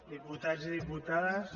diputats i diputades